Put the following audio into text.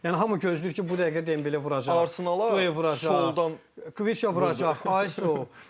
Yəni hamı gözləyir ki, bu dəqiqə Dembele vuracaq, Due vuracaq, soldan Qviça vuracaq, ay sağ ol.